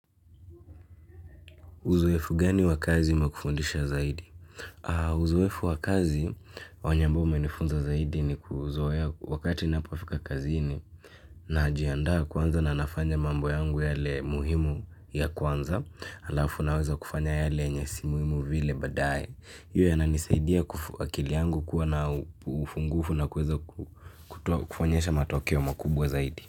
Uzoefu gani wa kazi umkufundisha zaidi? Uzoefu wa kazi wanya ambao umenifunza zaidi ni kuzoea wakati napofika kazini naajiandaa kwanza na nafanya mambo yangu yale muhimu ya kwanza alafu naweza kufanya yale yenye si muhimu vile badaye. Pia yananisaidia akili yangu kuwa na ufungufu na kuweza kuonyesha matokeo makubwa zaidi.